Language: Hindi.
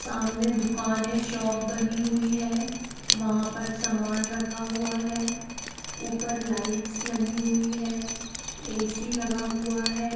सामने दुकाने शॉप बनी हुई है वहा पर सामान रखा हुआ है ऊपर लाइट्स लगी हुई है ए_सी लगा हुआ है।